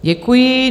Děkuji.